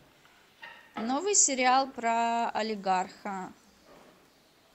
новый сериал про олигарха